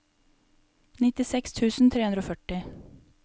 nittiseks tusen tre hundre og førti